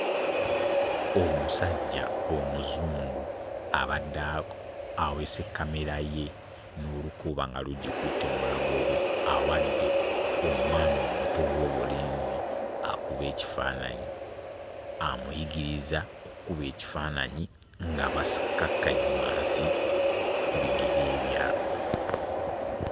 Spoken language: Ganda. Omusajja omuzungu abadde aweese kkamera ye n'olukoba nga lugikutte mu bulago bwe awadde omwana omuto ow'obulenzi akube ekifaananyi, amuyigiriza okkuba ekifaananyi nga basikakkanye wansi ku bigere byabwe